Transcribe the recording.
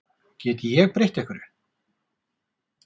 Get ég breytt einhverju?